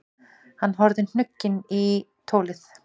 Hann horfði hnugginn í tólið.